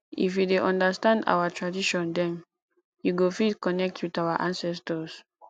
if you dey understand our tradition dem you go fit connect with our ancestors